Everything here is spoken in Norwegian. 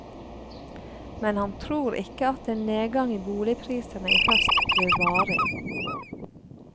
Men han tror ikke at en nedgang i boligprisene i høst blir varig.